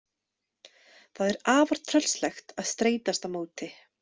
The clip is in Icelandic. Það er afar tröllslegt að streitast á móti.